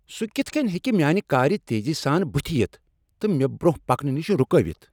سٗہ کِتھ کٔنۍ ہیکہِ میانہِ كارِ تیزی سان بُتھہِ یِتھ تہٕ مےٚ برٛۄنٛہہ پکنہٕ نِشہِ رُكٲوِتھ ؟